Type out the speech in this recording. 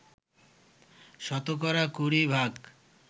শতকরা কুড়ি ভাগ